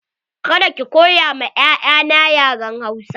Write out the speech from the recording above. Ka da ki koya ma 'ya'ya na yaren Hausa!